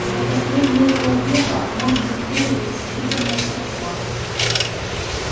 за последние полвека мощь империи значительно возросла